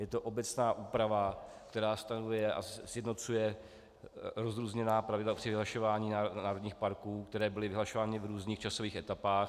Je to obecná úprava, která stanovuje a sjednocuje rozrůzněná pravidla při vyhlašování národních parků, které byly vyhlašovány v různých časových etapách.